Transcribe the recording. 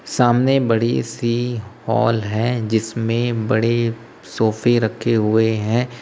सामने बड़ी सी हाल है जिसमें बड़े सोफे रखे हुए हैं।